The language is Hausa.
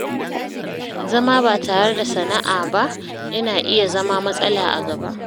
Zama ba tare da sana’a ba yana iya zama matsala a gaba.